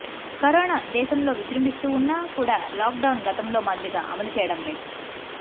corona దేశంలో విజృంభిస్తూ ఉన్నా కూడా లాక్డౌన్ గతంలో మాదిరిగా అమలు చేయడం లేదు